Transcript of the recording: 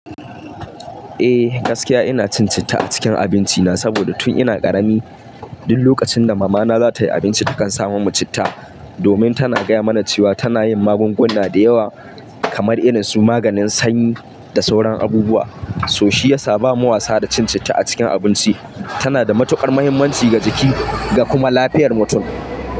Eh, gaskiya ina cin citta a cikin abinci na saboda tun ina karami, duk lokacin da mama na za ta yi abinci takan sa mu citta. Domin tana gaya mana cewa tana yin magunguna da yawa, kamar irin su maganin sanyi, da sauran abubuwa. So shi ya sa ba mu wasa da cin citta a cikin abinci. Tana da matuƙar muhimmanci ga jiki, da kuma lafiyar mutum.